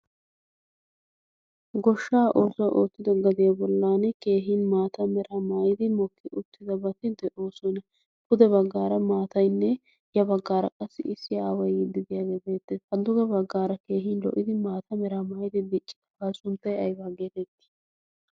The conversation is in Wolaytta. goshshaa oosuwaa oottido getee bollan keehin maata mera maayidi mokki uttida bati de'oo sona pude baggaara maatainne ya baggaara qassi issi aawai yiddidiyaageebeette hadduge baggaara keehin lo'idi maata mera maayidi diiccikkabaa sunttay aybaa geetettii?